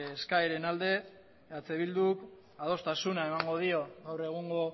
eskaeren alde eh bilduk adostasuna emango dio gaur egungo